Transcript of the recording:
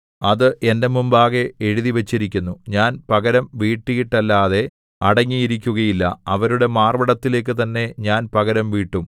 അത് എന്റെ മുമ്പാകെ എഴുതിവച്ചിരിക്കുന്നു ഞാൻ പകരം വീട്ടിയിട്ടല്ലാതെ അടങ്ങിയിരിക്കുകയില്ല അവരുടെ മാർവ്വിടത്തിലേക്ക് തന്നെ ഞാൻ പകരംവീട്ടും